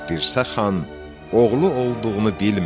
Dirsəxan oğlu olduğunu bilmədi.